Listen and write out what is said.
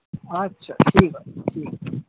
আচ্ছা ঠিক আছে ঠিক আছে